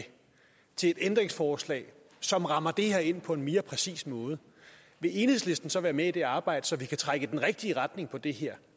til et ændringsforslag som rammer det her ind på en mere præcis måde vil enhedslisten så være med i det arbejde så vi kan trække i den rigtige retning på det her